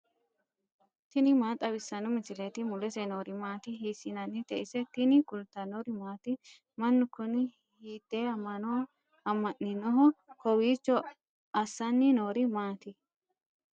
tini maa xawissanno misileeti ? mulese noori maati ? hiissinannite ise ? tini kultannori maati? Manu kunni hiitte ama'no amaniinnoho? Kowiicho assanni noori maatti?